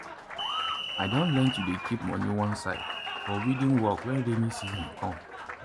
i don learn to dey keep money one side for weeding work when rainy season come.